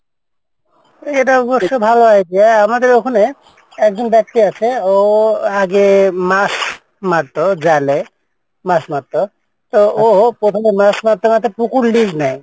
এইটা অবশ্য ভালো idea আমাদের ওখানে একজন ব্যাক্তি আছে ও আগে মাছ মারতো জালে মাছ মারতো তো ও প্রথমে মাছ মারতে মারতে পুকুর lease নেয়,